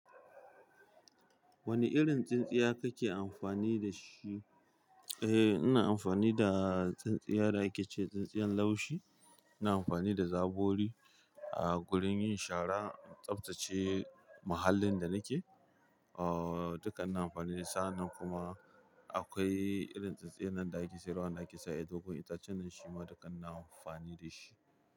Wane irin tsintsiya kake amfani da su. Eh ina amfani da tsintsiya da ake ce tsintsiyar laushi. Ina amfani da zabori a gurin yin shara in tsabtace muhallin da nike. Ah dukka ina amfani da sa'annan kuma akwai irin tsintsiyar nan da ake saidawa wanda ake cewa ƴar dogon itacen nan shi ma duka ina amfani da shi.